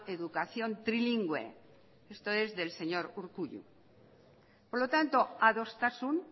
educación trilingüe esto es del señor urkullu por lo tanto adostasun